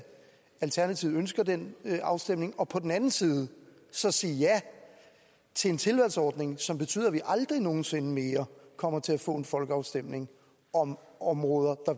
alternativet ønsker den afstemning og på den anden side så sige ja til en tilvalgsordning som betyder at vi aldrig nogen sinde mere kommer til at få en folkeafstemning om områder